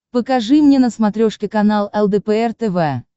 покажи мне на смотрешке канал лдпр тв